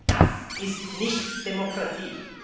Das ist nicht Demokratie.